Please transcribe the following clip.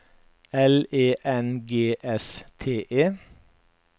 L E N G S T E